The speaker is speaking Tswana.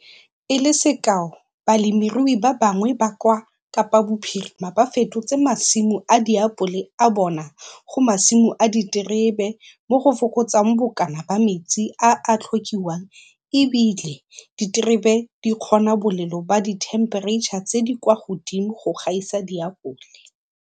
E le sekao, balemirui ba bangwe ba kwa Kapabophirima ba fetotse masimo a diapole a bona go masimo a diterebe mo go fokotsang bokana ba metsi a a tlhokiwang e bile diterebe di kgona bolelo ba dithempereitšha tse di kwa godimo go gaisa diapole.